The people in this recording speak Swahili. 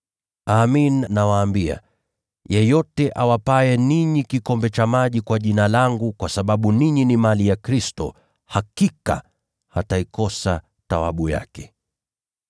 Amin, nawaambia, yeyote awapaye ninyi kikombe cha maji kwa Jina langu kwa sababu ninyi ni mali ya Kristo, hakika hataikosa thawabu yake.”